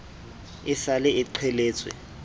e sa le e qheletswe